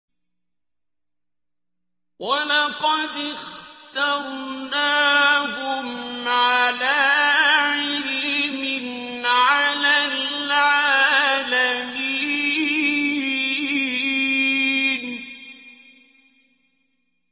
وَلَقَدِ اخْتَرْنَاهُمْ عَلَىٰ عِلْمٍ عَلَى الْعَالَمِينَ